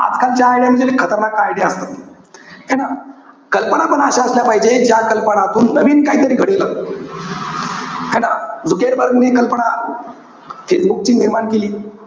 आजकालच्या idea म्हणजे लय खतरनाक idea असतात. है ना? कल्पना पण अशा असल्या पाहिजे, ज्या कल्पनातून नवीन काहीतरी घडेल. है ना? झुकेरबर्ग ने कल्पना, फेसबुकची निर्माण केली.